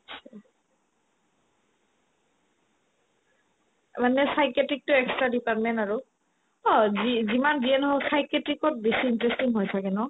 মানে psychiatric তো extra department আৰু অ যি ~ যিমান যিয়ে নহক psychiatric ত বেছি interesting হয় ছাগে ন